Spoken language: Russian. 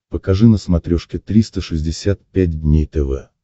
покажи на смотрешке триста шестьдесят пять дней тв